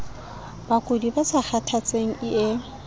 bakudi ba sa kgathatseng ie